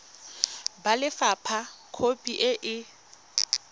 ba lefapha khopi e e